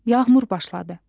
Yağmur başladı.